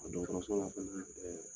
dɔgɔtɔrɔso la fana